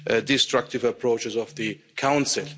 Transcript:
destructive approach of the Council.